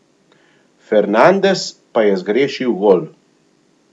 Fernandes pa je zgrešil gol.